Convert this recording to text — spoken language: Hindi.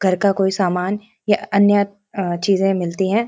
घर का कोई का समान या अन्य अ-चीजे मिलती हैं।